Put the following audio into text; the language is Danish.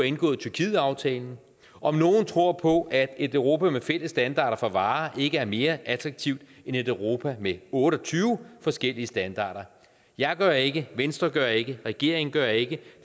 indgået tyrkietaftalen om nogen tror på at et europa med fælles standarder for varer ikke er mere attraktivt end et europa med otte og tyve forskellige standarder jeg gør ikke venstre gør ikke regeringen gør ikke